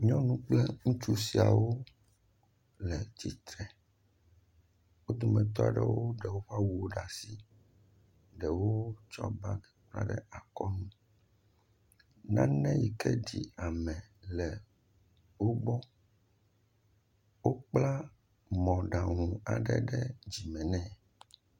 Nyɔnu kple ŋutsu siawo le tsitre, o dome tɔa ɖewo ɖe woƒe awuwo ɖe asi, ɖewo tsɔ bagi hã ɖe akɔ nu, nane yi ke ɖi ame le wo gbɔ, o kpla mɔɖaŋu aɖe ɖe dzi me.